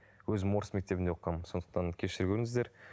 өзім орыс мектебінде оқығанмын сондықтан кешіре көріңіздер